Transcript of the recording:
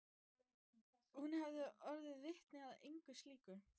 Hún hefur orðið vitni að einu slíku.